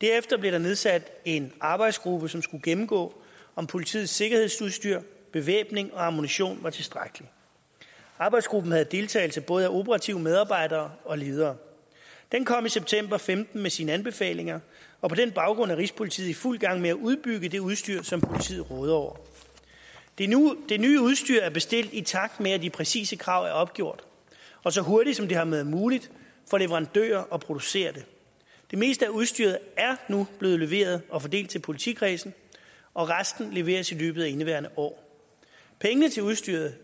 derefter blev der nedsat en arbejdsgruppe som skulle gennemgå om politiets sikkerhedsudstyr bevæbning og ammunition var tilstrækkelig arbejdsgruppen havde deltagelse både af operative medarbejdere og ledere den kom i september og femten med sine anbefalinger og på den baggrund er rigspolitiet i fuld gang med at udbygge det udstyr som politiet råder over det nye udstyr er bestilt i takt med at de præcise krav er opgjort og så hurtigt som det har været muligt for leverandører at producere det det meste af udstyret er nu blevet leveret og fordelt til politikredsene og resten leveres i løbet af indeværende år pengene til udstyret